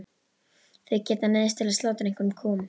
Þau gætu neyðst til að slátra einhverjum kúm.